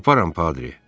Taparam, Patri.